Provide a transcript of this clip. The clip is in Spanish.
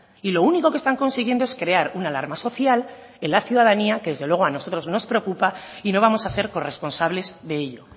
y lo único que están consiguiendo es crear una alarma social en la ciudadanía que desde luego a nosotros nos preocupa y no vamos a ser corresponsables de ello